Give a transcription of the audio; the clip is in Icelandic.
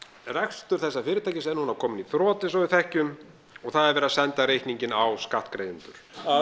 rekstur þessa fyrirtækis er nú kominn í þrot eins og við þekkjum og það er verið að senda reikninginn á skattgreiðendur